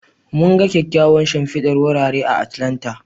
Mun ga kyawawan shimfidar wurare a Atlanta.